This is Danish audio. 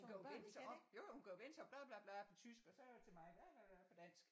Hun kan jo vende sig om jo jo hun kan jo vende sig om bla bla bla på tysk og så til mig bla bla bla på dansk